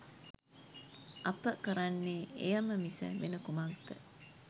අප කරන්නේ එයම මිස වෙන කුමක්ද?